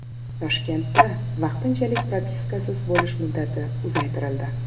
Toshkentda vaqtinchalik propiskasiz bo‘lish muddati uzaytirildi.